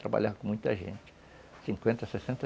Trabalhava com muita gente. Cinquenta, sessenta